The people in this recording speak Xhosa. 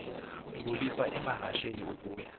bekhweliswa emahasheni ukuya